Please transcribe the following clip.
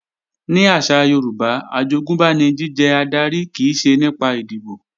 Ní àṣà Yorùbá, àjogúnbá ni jíjẹ adarí kìí ṣe nípa ìdìbò